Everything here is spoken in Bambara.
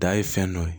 Da ye fɛn dɔ ye